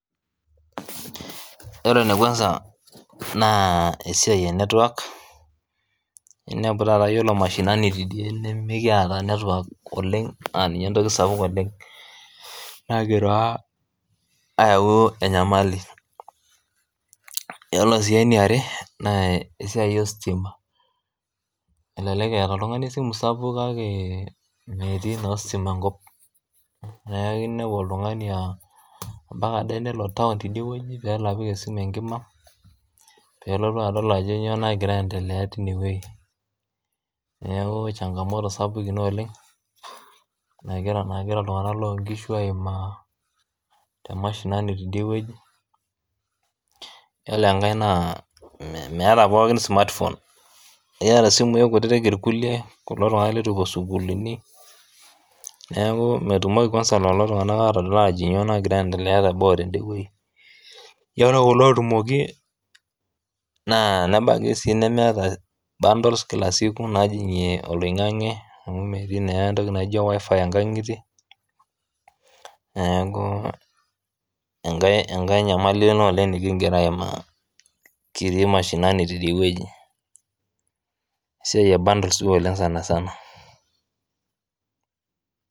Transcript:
Ore ne kwansa naa esiaai e network iniapu taata iyoolo emashinani tedie nimikieta network oleng aaninye entoki sapuk oleng nagira ayaau enyamali, ore sii eneare naa esiaai esitima, elelek eat ltungani esimu sapuk kake metii naa esitima nkop neaku iniapu oltungani ampaka ae nelo town tedie weji peelo apik esimu enkima pelotu adol ajo enyoo nagira aendelea teine weji, neaku changamoto sapuk ina oleng nagira ltunganak loo inkishu aimaa te emashinani tedie weji, iyolo enkae naa meeta pookin smartphone ieta simuii kututik irkule kulo tunganak letu epo sukulini, naaku metumoki kwansa lelo tunganak aatodol aajo inyoo nagira aiendelea te boo teinde weji, iyolo kulo ootumoki naa nebaki si nemeeta bundles kila siku naajing'ie oloing'ang'ie amuu metii naa entoki najii wifi inkang'itie naaku enkae inyamali ina oleng nikigira aimaa kitii mashinani edie weji siaii e bundles duo sani sana.